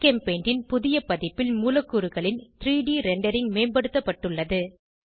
ஜிகெம்பெயிண்டின் புதிய பதிப்பில் மூலக்கூறுகளின் 3ட் ரெண்டரிங் மேம்படுத்தப்பட்டுள்ளது